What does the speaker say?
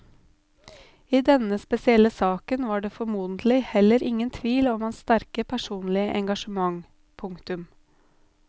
I denne spesielle saken var det formodentlig heller ingen tvil om hans sterke personlige engasjement. punktum